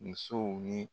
Musow ni